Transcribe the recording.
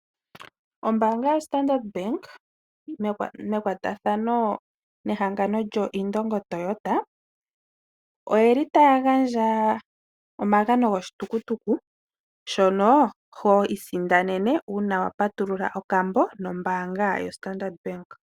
Ombaanga yaStandard, mekwatathano nehangano lyoIndongo Toyota, oye li taya gandja omagano goshitukutuku, shono ho isindanene uuna wa patulula okambo nombaanga yaStandard.